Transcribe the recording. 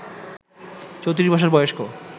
৩৪ বছর বয়স্ক